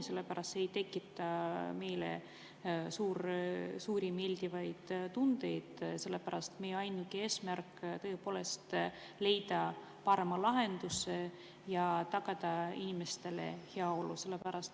See ei tekita meile meeldivaid tundeid, sest meie ainuke eesmärk on leida parem lahendus ja tagada inimeste heaolu.